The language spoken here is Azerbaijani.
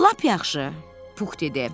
Lap yaxşı, Pux dedi.